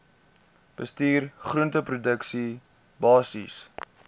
bestuur groenteproduksie basiese